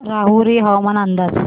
राहुरी हवामान अंदाज